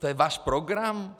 To je váš program?